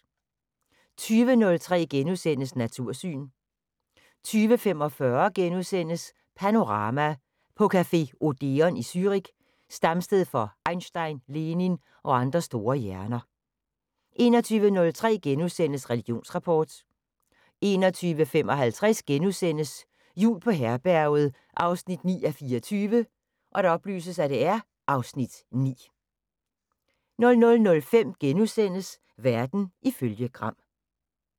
20:03: Natursyn * 20:45: Panorama: På café Odeon i Zürich, stamsted for Einstein, Lenin og andre store hjerner * 21:03: Religionsrapport * 21:55: Jul på Herberget 9:24 (Afs. 9)* 00:05: Verden ifølge Gram *